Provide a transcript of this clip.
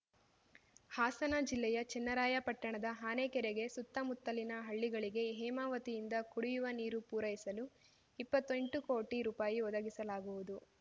ಹಾಸನ ಜಿಲ್ಲೆಯ ಚೆನ್ನರಾಯಪಟ್ಟಣದ ಆನೆಕೆರೆಗೆ ಸುತ್ತಮುತ್ತಲಿನ ಹಳ್ಳಿಗಳಿಗೆ ಹೇಮಾವತಿಯಿಂದ ಕುಡಿಯುವ ನೀರು ಪೂರೈಸಲು ಇಪ್ಪತ್ತೆಂಟು ಕೋಟಿ ರೂಪಾಯಿ ಒದಗಿಸಲಾಗುವುದು